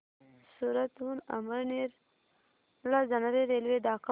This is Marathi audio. सूरत हून अमळनेर ला जाणारी रेल्वे दाखव